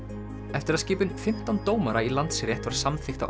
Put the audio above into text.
eftir að skipun fimmtán dómara í Landsrétt var samþykkt á